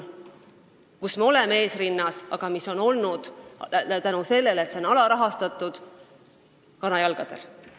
Me oleme selles valdkonnas esirinnas, aga kuna e-riik on olnud alarahastatud, seisab see kanajalgadel.